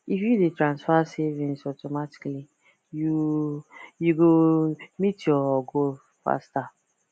if you dey transfer savings automatically you you go meet your goal faster